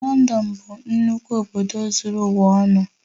Lọndọn bụ nnukwu obodo zuru ụwa ọnụ